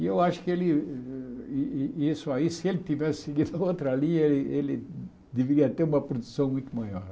E eu acho que ele isso aí se ele tivesse seguido a outra linha, ele deveria ter uma produção muito maior.